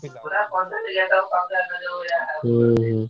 ହୁଁ ହୁଁ।